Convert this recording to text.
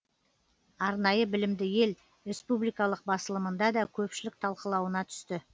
арнайы білімді ел республикалық басылымында да көпшілік талқылауына түсті